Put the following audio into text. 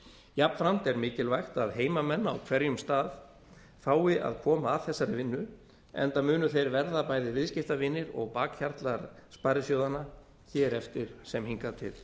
jafnframt er mikilvægt að heimamenn á hverjum stað fái að koma að þessari vinnu enda munu þeir verða bæði viðskiptavinir og bakhjarlar sparisjóðanna hér eftir sem hingað til